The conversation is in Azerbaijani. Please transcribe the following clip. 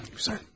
Güzel.